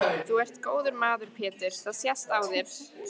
Þú ert góður maður Pétur það sést á þér.